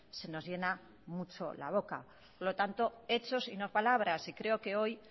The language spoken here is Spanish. se nos llena mucho la boca por lo tanto hechos y no palabras y creo que hoy